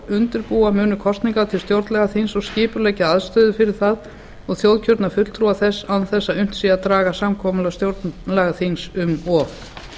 undirbúa munu kosningar til stjórnlagaþings og skipuleggja aðstöðu fyrir það og þjóðkjörna fulltrúa þess án þess þó að unnt sé að draga samkomudag stjórnlagaþings um of